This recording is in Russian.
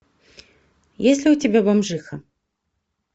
есть ли у тебя бомжиха